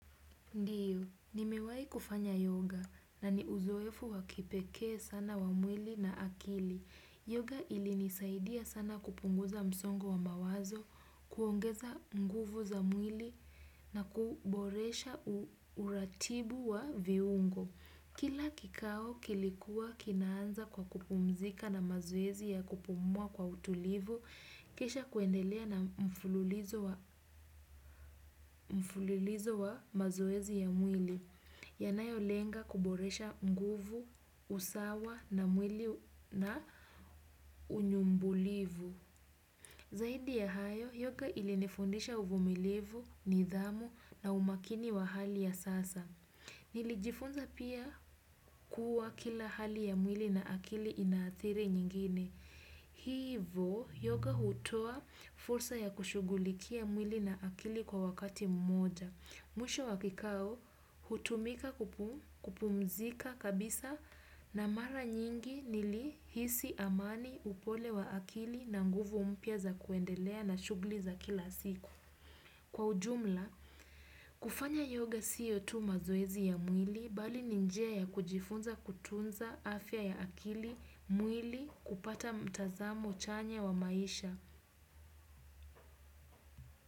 Ndio, nimewahi kufanya yoga na ni uzoefu wa kipekee sana wa mwili na akili. Yoga ilinisaidia sana kupunguza msongo wa mawazo, kuongeza nguvu za mwili na kuboresha uratibu wa viungo. Kila kikao kilikuwa kinaanza kwa kupumzika na mazoezi ya kupumua kwa utulivu, kisha kuendelea na mfululizo wa mazoezi ya mwili. Yanayolenga kuboresha nguvu, usawa na mwili na unyumbulivu. Zaidi ya hayo, yoga ilinifundisha uvumilivu, nidhamu na umakini wa hali ya sasa. Nilijifunza pia kuwa kila hali ya mwili na akili inaathiri nyingine. Hivo, yoga hutoa fursa ya kushugulikia mwili na akili kwa wakati mmoja. Mwisho wa kikao hutumika kupumzika kabisa na mara nyingi nilihisi amani, upole wa akili na nguvu mpya za kuendelea na shughli za kila siku. Kwa ujumla, kufanya yoga sio tu mazoezi ya mwili bali ni njia ya kujifunza kutunza afya ya akili, mwili kupata mtazamo chanya wa maisha.